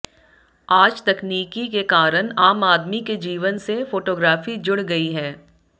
आज तकनीकी के कारण आम आदमी के जीवन से फोटोग्राफी जुड़ गई है